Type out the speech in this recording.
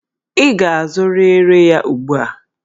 Ị ga-azụrịrị ya ugbu a!